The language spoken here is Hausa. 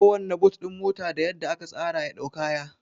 Kowanna but ɗin mota da yadda aka tsara ya dau kaya